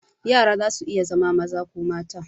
Yara zasu iya zama maza ko mata.